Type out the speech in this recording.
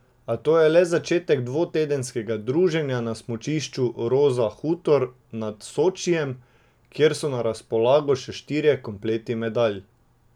A to je le začetek dvotedenskega druženja na smučišču Roza Hutor nad Sočijem, kjer so na razpolago še štirje kompleti medalj.